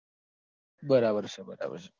બરાબર છે બરાબર છે